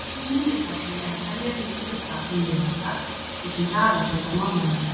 Algeng minnistækni er að semja vísur um það sem muna skal, svo sem dagafjölda mánaðanna.